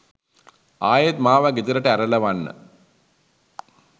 ආයෙත් මාව ගෙදරට ඇරලවන්න